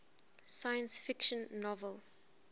science fiction novel